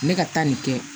Ne ka taa nin kɛ